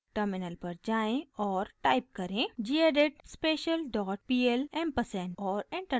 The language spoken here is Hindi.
टर्मिनल पर जाएँ और टाइप करें: gedit special dot pl ampersand और एंटर दबाएं